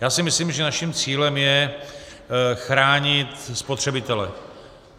Já si myslím, že naším cílem je chránit spotřebitele.